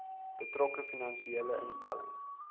betrokke finansiële instelling